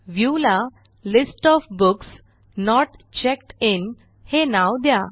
Viewला list of books not checked in हे नाव द्या